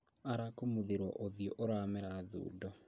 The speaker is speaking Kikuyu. Arakumuthirwo ũthiũ ũramera thundo